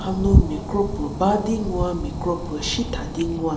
hanu mie kropo badi ngwu mi kropo shi tha di ngwa.